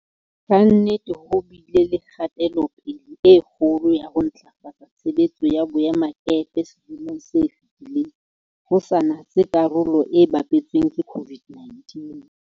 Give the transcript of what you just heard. Kannete ho bile le kgatelo-pele e kgolo ya ho ntlafatsa tshebetso ya boemakepe selemong se fetileng, ho sa natse karolo e bapetsweng ke COVID-19.